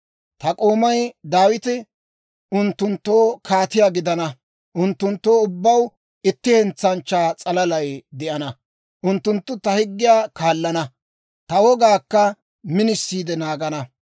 «‹ «Ta k'oomay Daawite unttunttoo kaatiyaa gidana; unttunttoo ubbaw itti hentsanchchaa s'alalay de'ana. Unttunttu ta higgiyaa kaallana; ta wogaakka minisiide naagana.